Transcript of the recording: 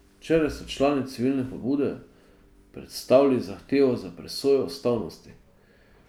Včeraj so člani civilne pobude predstavili zahtevo za presojo ustavnosti.